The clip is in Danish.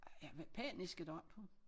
Ja paniske deroppe